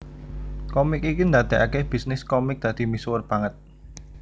Komik iki ndadekake bisnis komik dadi misuwur banget